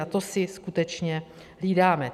A to si skutečně hlídáme.